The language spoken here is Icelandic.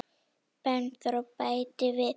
Bergþór bætir við.